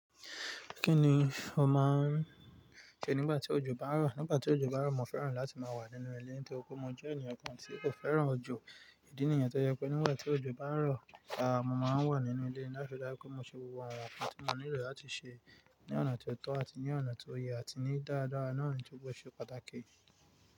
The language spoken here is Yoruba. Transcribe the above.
Kí ni o máa ń ṣe nígbà tí òjò bá ń rọ̀? Nígbà tí òjò bá ń rọ̀, mo fẹ́ràn láti máa wà nínú ilé torí pé mo jẹ́ ènìyàn kan tí kò fẹ́ràn òjò. Ìdí nìyẹn tó jẹ́ pé nígbà tí òjò bá ń rọ̀, àá, mo máa ń wà nínú ilé láti ri daju pé mo ṣe gbogbo àwon kan tí mo nílò láti ṣe ní ọ̀nà tó tọ́ àti ní ọ̀nà tó yẹ àti ní dáadáa náà to de ṣe pàtàkì.